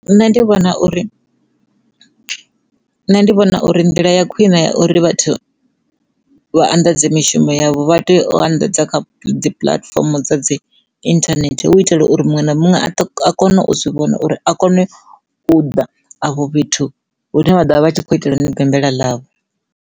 Nṋe ndi vhona uri nṋe ndi vhona uri ndila ya khwine ya uri vhathu vha anḓadze mishumo yavho vha tea u anḓadza kha dzi puḽatifomo dza dzi internet hu u itela uri muṅwe na muṅwe a kone u zwi vhona uri a kone u ḓa afho fhethu hune vha ḓo vha vha tshi khou itela ni diambela ḽavho.